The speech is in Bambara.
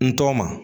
N tɔgɔ ma